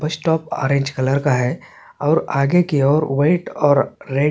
बस stop orange colour का हैऔर आगे की और वाइट और रेड --